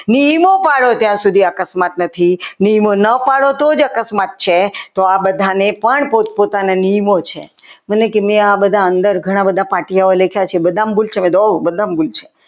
નિયમો પાડો ત્યાં સુધી અકસ્માત નથી થવાના નિયમો ના પાડો તો જ અકસ્માત થાય છે તો આ બધાને પણ પોતપોતાના નિયમો છે મને કે નિયમો તો ઘણા બધા પાટિયામાં લખ્યા છે બધામાં ભૂલ છે મેં કીધું ઓ ભૂલ છે.